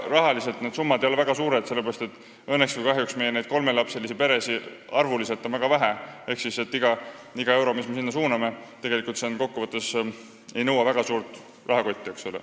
Rahasummad ei ole väga suured, sellepärast et õnneks või kahjuks on meil kolmelapselisi peresid arvuliselt väga vähe, ehk iga euro, mis me sinna suuname, ei nõua kokku võttes väga suurt rahakotti.